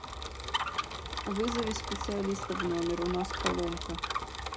вызови специалиста в номер у нас поломка